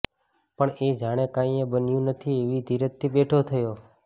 પણ એ જાણે કાંઈયે બન્યું નથી એવી ધીરજથી બેઠો થયો